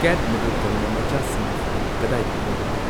ꯀꯦꯠ ꯃꯤꯗꯜꯇꯟꯅ ꯃꯆꯥꯁꯤꯡꯒꯤ ꯐꯤꯔꯣꯜ ꯀꯗꯥꯏꯗꯒꯤ ꯂꯩꯕꯅꯣ?